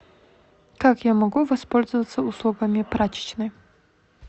как я могу воспользоваться услугами прачечной